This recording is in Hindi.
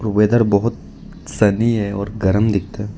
वैदर बहुत सनी है और गर्म दिखता है।